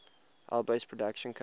alby's production company